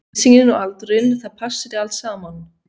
Lýsingin og aldurinn, það passaði allt saman.